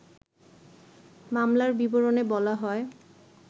মামলার বিবরণে বলা হয়